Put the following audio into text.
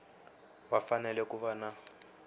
va fanele ku va na